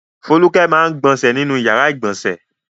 Folúkẹ máa ń gbọnṣẹ̀ nínú ìyàrá-ìgbọnsẹ̀.